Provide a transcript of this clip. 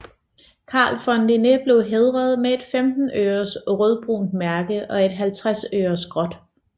Carl von Linné blev hædret med et 15 øres rødbrunt mærke og et 50 øres gråt